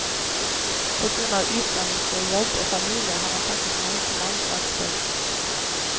På grunn av utdannelse, jobb og familie har han takket nei til landslagsspill.